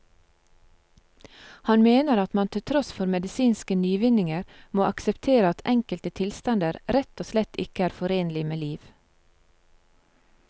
Han mener at man til tross for medisinske nyvinninger må akseptere at enkelte tilstander rett og slett ikke er forenlig med liv.